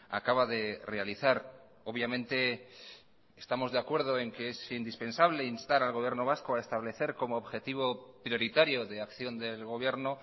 acaba de realizar obviamente estamos de acuerdo en que es indispensable instar al gobierno vasco a establecer como objetivo prioritario de acción del gobierno